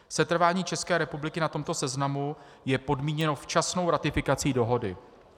Setrvání České republiky na tomto seznamu je podmíněno včasnou ratifikací dohody.